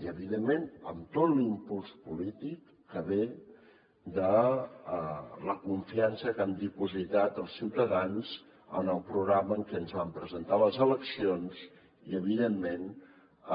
i evidentment amb tot l’impuls polític que ve de la confiança que han dipositat els ciutadans en el programa amb el que ens vam presentar a les eleccions i evidentment